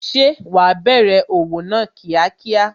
Ṣé wa bẹ̀rẹ̀ òwò náà kíákíá?